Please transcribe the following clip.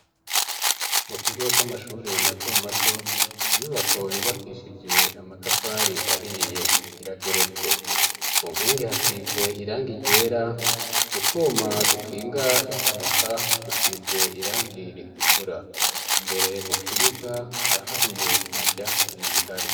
mu kigo c'amashure mato mato inyubako yubakishije amatafari ahiye irageretse ku nkingi hasize irangi ryera gutwuma dukinga impanuka dusize irangi ritukura imbere mu kibuga haraharuye nta vyatsi bihari